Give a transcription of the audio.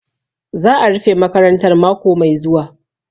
Za'a rufe makarantar mako mai zuwa.